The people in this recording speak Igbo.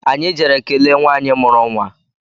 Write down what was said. Anyị jere kelee nwanyị mụrụ nwa